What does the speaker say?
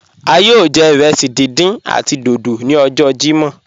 A yọọ jẹ irẹsí dídán àti dódó ni ọjọ Jímọ́.